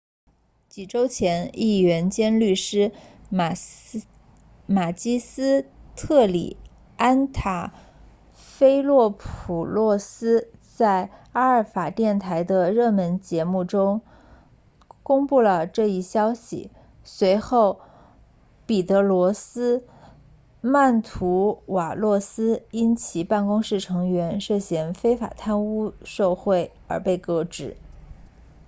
几周前议员兼律师马基斯特里安塔菲洛普洛斯在阿尔法电视台的热门电视节目 zoungla 中公布了这一消息随后彼得罗斯曼图瓦洛斯因其办公室成员涉嫌非法贪污受贿而被革职